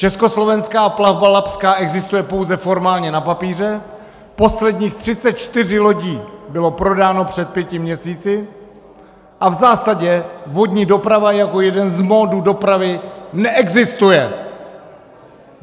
Československá plavba labská existuje pouze formálně na papíře, posledních 34 lodí bylo prodáno před pěti měsíci a v zásadě vodní doprava jako jeden z modů dopravy neexistuje.